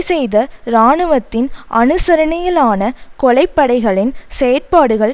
செய்த இராணுவத்தின் அனுசரணையிலான கொலைப்படைகளின் செயற்பாடுகள்